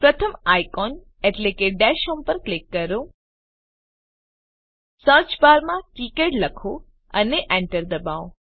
પ્રથમ આઇકોન એટલે કે ડેશ હોમ પર ક્લિક કરો સર્ચબારમાં કિકાડ લખો અને Enter દબાવો